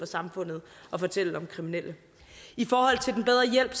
samfundet og fortælle om kriminelle i forhold til den bedre hjælp